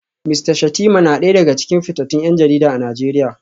Mista Shettima na daya daga cikin fitattun 'yan jarida a Najeriya